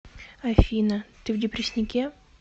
афина ты в депрессняке